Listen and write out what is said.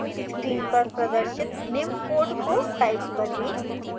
screen पर प्रदर्शित निम्न code को type करें